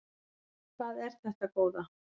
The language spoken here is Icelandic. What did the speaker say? Hvað er þetta góða!